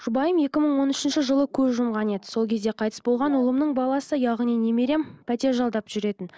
жұбайым екі мың он үшінші жылы көз жұмған еді сол кезде қайтыс болған ұлымның баласы яғни немерем пәтер жалдап жүретін